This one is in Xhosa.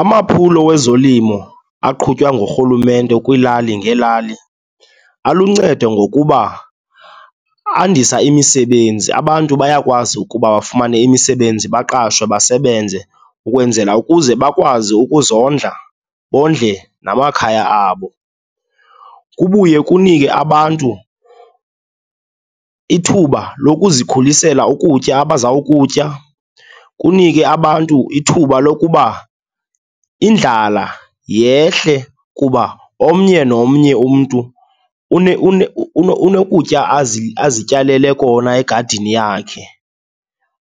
Amaphulo wezolimo aqhutywa ngurhulumente kwiilali ngeelali aluncedo ngokuba andisa imisebenzi. Abantu bayakwazi ukuba bafumane imisebenzi, baqashwe, basebenze ukwenzela ukuze bakwazi ukuzondla, bondle namakhaya abo. Kubuye kunike abantu ithuba lokuzikhulisela ukutya abazawukutya, kunikwe abantu ithuba lokuba indlala yehle kuba omnye nomnye umntu unokutya azityalele kona egadini yakhe.